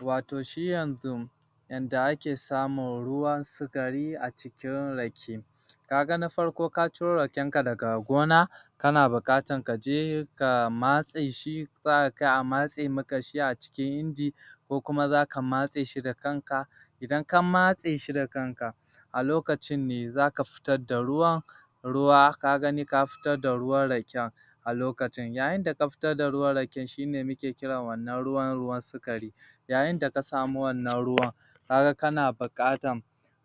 Watau shi yanzu yanda ake samun ruwan sukari a cikin rake ka ga na farko ka ciro raken ka daga gona kana buƙatar kaje ka matse shi za ka kai a matse maka shi a cikin inji ko kuma zaka matse shi da kanka idan ka matse shi da kanka a lokacin ne zaka fitar da ruwa ruwa ka gani ka fitar da ruwan raken a lokacin yayin da ka fitar da ruwan raken shine muke kira watau wannan ruwan sukari yayin da ka samu wannan ruwan ka ga kana buƙatan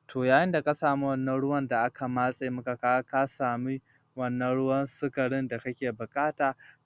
to yayin da ka samu wannan ruwan da aka matse maka kaga ka sami wannan ruwan sukari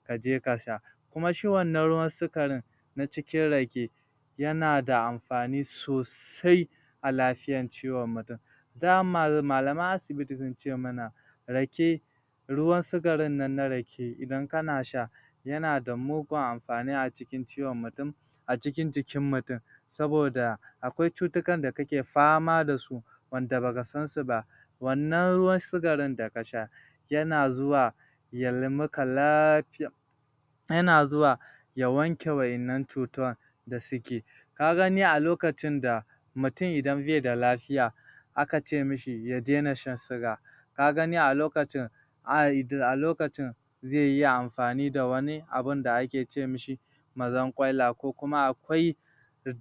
kaje ka sha kuma shi wannan ruwan sukarin na cikin rake yana da amfani sosai a lafiyan ciwon mutum dama malaman asibiti sunce mana] rake ruwan sukarin nan na rake idan kana sha yana da mugun amfani a cikin ciwon mutum a cikin jikin mutum saboda akwai cutukan da kake fama da su wanda baka sa su ba wannan ruwan sukari da ka sha yana zuwa yayi maka lafiya yana zuwa ya wanke wa'innan cutan da suke ka gani a lokacin da mutum idan bai da lafiya aka ce mishi ya daina shan suga ka gani a lokacin a lokacin zai iya amfani da wani abun da ake ce mishi mazarƙwaila ko kuma akwai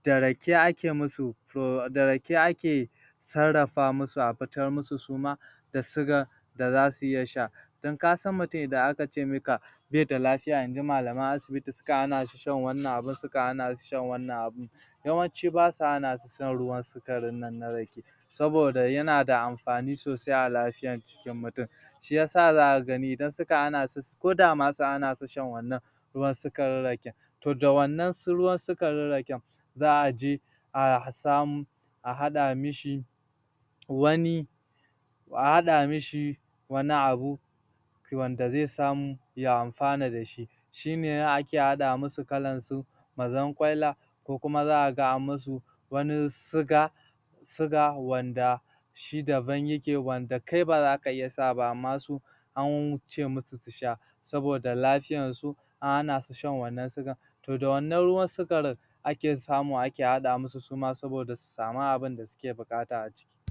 da rake ake musu to da rake ake sarrafa musu a fitar musu su ma da suga da zasu iya sha don kasan mutum idan aka ce maka bai da lafiya inji malaman asibiti sukan hanashi shan wannan abu sukan hana su shan wannan abu yawanci basa hana su shan ruwan sukarin nan na rake saboda yana da amfani sosai a lafiyan jikin mutum shiyasa zaka gani idan suka hana su ko da ma sun hana su shan wannan ruwan sukarin raken toh da wannan ruwan sukarin raken za a je a samo a haɗa mishi wani a haɗa mishi wani abu wanda zai samu ya amfana da shi shine ake haɗa musu kalansu mazarƙwaila ko kuma zaka ga an musu wani suga suga wanda shi daban yake wanda kai baza ka iya sa wa ba amma su ance musu su sha saboda lafiyan su an han su shan wannan sugan to da wannan ruwan sukarin ake samu ake haɗa musu suma saboda su samu abunda suke buƙata a ciki